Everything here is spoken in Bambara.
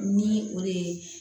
Ni o de ye